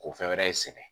Ko fɛn wɛrɛ sɛgɛn